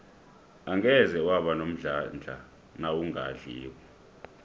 angeze waba nomdlandla nawungadliko